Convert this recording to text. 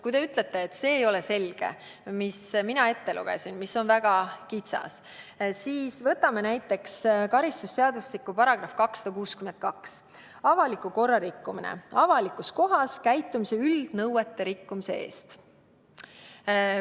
Kui te ütlete, et see, mis ma ette lugesin, ei ole selge, kuigi see on väga kitsas, siis võtame näiteks karistusseadustiku § 262 "Avaliku korra rikkumine", milles avalikus kohas käitumise üldnõuete rikkumist.